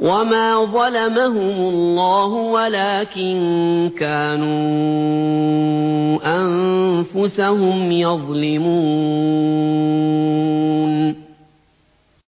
وَمَا ظَلَمَهُمُ اللَّهُ وَلَٰكِن كَانُوا أَنفُسَهُمْ يَظْلِمُونَ